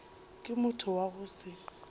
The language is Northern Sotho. ke motho wa go se